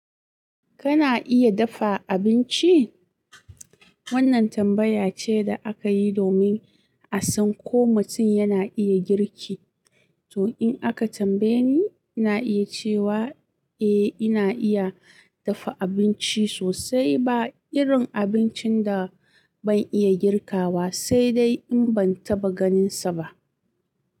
Kana iya dafa abinci? Wannan tambaya ce da aka yi domin a san ko mutum yana iya girki. To in aka tambaye ni, ina iya cewa eh ina iya dafa abinci sosai. Ba irin abincin da ban iya girkawa sai dai in ban taɓa ganinsa ba.